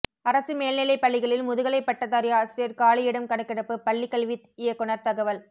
அரசு மேல்நிலைப் பள்ளிகளில் முதுகலை பட்டதாரி ஆசிரியர் காலியிடம் கணக்கெடுப்பு பள்ளிக் கல்வி இயக்குநர் தகவல்